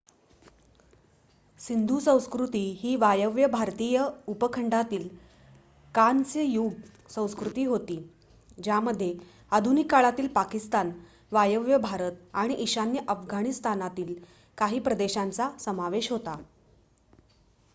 सिंधू संस्कृती ही वायव्य भारतीय उपखंडातील कांस्य युग संस्कृती होती ज्यामध्ये आधुनिक काळातील पाकिस्तान वायव्य भारत आणि ईशान्य अफगाणिस्तानातील काही प्रदेशांचा समावेश होता